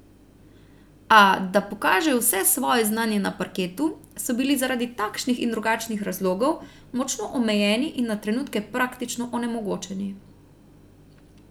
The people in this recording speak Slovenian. A, da pokažejo vse svoje znanje na parketu, so bili zaradi takšnih in drugačnih razlogov, močno omejeni in na trenutke praktično onemogočeni.